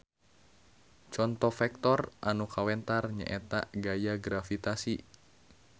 Conto vektor anu kawentar nyaeta gaya gravitasi.